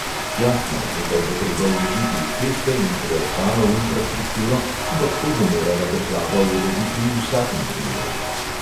Jasno, nekaj bo treba vložiti v ceste in preostalo infrastrukturo, ampak to bo morala država urediti v vsakem primeru.